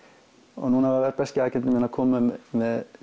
og núna var breski minn að koma með